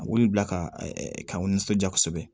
A wuli bila kaw nisɔndiya kosɛbɛ